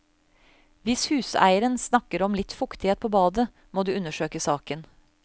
Hvis huseieren snakker om litt fuktighet på badet, må du undersøke saken.